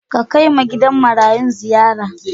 Ka kai ma gidan marayun ziyara.